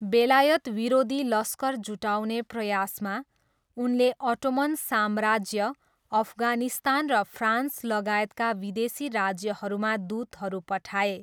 बेलायत विरोधी लश्कर जुटाउने प्रयासमा, उनले अटोमन साम्राज्य, अफगानिस्तान र फ्रान्स लगायतका विदेशी राज्यहरूमा दूतहरू पठाए।